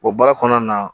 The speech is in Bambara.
O baara kɔnɔna na